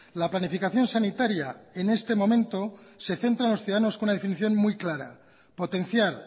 la planificación sanitaria en este momento se centra en los ciudadanos con una definición muy clara potenciar